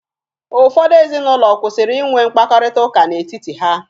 Ụfọdụ ezinụlọ kwụsịrị inwe mkpakọrịta n'etiti ha